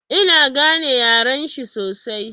Ina gane yaren shi sosai.